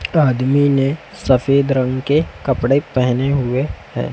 आदमी ने सफेद रंग के कपड़े पहने हुए हैं।